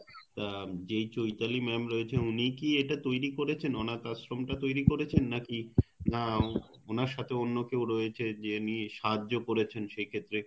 উম যে চৈতালি madam রয়েছে উনিই কি এটা তৈরি করেছেন অনাথ আশ্রম টা তৈরি করেছেন নাকি না ওনার সাথে অন্যকেও রয়েছে যে সাহায্য করেছেন সে ক্ষেত্রে